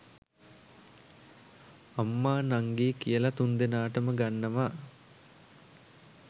අම්මා නංගි කියලා තුන්දෙනාටම ගන්නවා